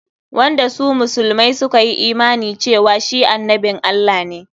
Wanda su musulmai suka yi imani cewa shi annabin Allah ne.